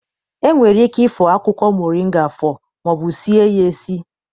E nwere ike ịfọ akwụkwọ moringa afọ maọbụ sie ya esi.